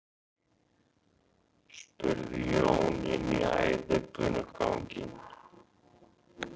spurði Jón inn í æðibunuganginn.